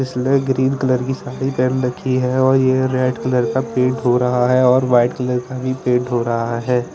इसने green colour की साड़ी पहन रखी है और ये रेड कलर का पेंट हो रहा है और व्हाईट कलर का भी पेंट हो रहा है।